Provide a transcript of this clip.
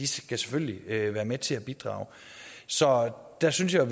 selvfølgelig skal være med til at bidrage så der synes jeg